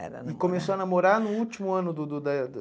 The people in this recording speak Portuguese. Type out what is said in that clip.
E começou a namorar no último ano do do da